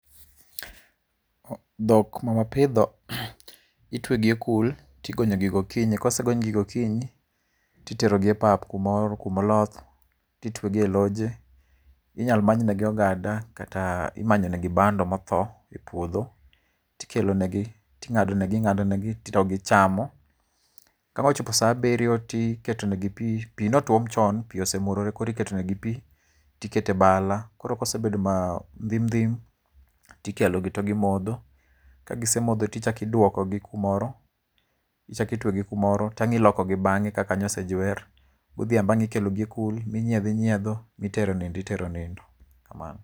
Dhok mawapidho itwegi ekul tigonyo gi gokinyi. Kosegony gi gokinyi, titero gi e pap kumoro kuma oloth titwegi e loje. Inyalo many negi ogada kata imanyonegi bando motho e puodho to ikelo negi. Ting'ado negi ing'ado negi gichamo. Ka ang' ochopo saa abiriyo to iketo negi pi, pi ne osetuom chon makoro omurore, koro iketonegi pi tikete bala. Koro kosebedo ma ndhm ndhim, tikelogi to gimodho. Ka gisemodho to ichak iduokogi kumoro, ichak itwe gi kumoro to ang' ilokogi bang'e ka kanyo osejuer. Godhiambo ang' ikelohgi ne kul, minyiedho inyiedho, mitero nindo , itero nindo, kamano.